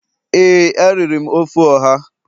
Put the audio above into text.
ee, a riri m ofe oha.